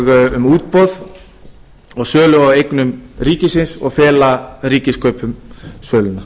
um útboð um sölu á eignum ríkisins og fela ríkiskaupum söluna